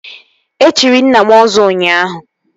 E chiri nna m Ọzọ ụnyaahụ